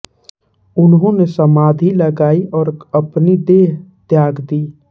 उन्होंने समाधी लगाई और अपनी देह त्याग दी